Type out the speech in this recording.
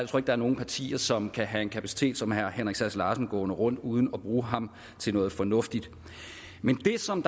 er nogen partier som kan have en kapacitet som herre henrik sass larsen gående rundt uden at bruge ham til noget fornuftigt men det som